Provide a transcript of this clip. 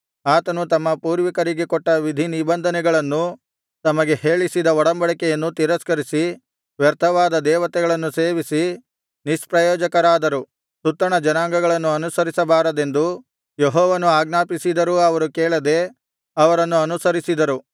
ಆತನು ತಮ್ಮ ಪೂರ್ವಿಕರಿಗೆ ಕೊಟ್ಟ ವಿಧಿನಿಬಂಧನೆಗಳನ್ನೂ ತಮಗೆ ಹೇಳಿಸಿದ ಒಡಂಬಡಿಕೆಯನ್ನು ತಿರಸ್ಕರಿಸಿ ವ್ಯರ್ಥವಾದ ದೇವತೆಗಳನ್ನು ಸೇವಿಸಿ ನಿಷ್ಪ್ರಯೋಜಕರಾದರು ಸುತ್ತಣ ಜನಾಂಗಗಳನ್ನು ಅನುಸರಿಸಬಾರದೆಂದು ಯೆಹೋವನು ಆಜ್ಞಾಪಿಸಿದರೂ ಅವರು ಕೇಳದೆ ಅವರನ್ನು ಅನುಸರಿಸಿದರು